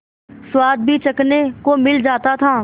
स्वाद भी चखने को मिल जाता था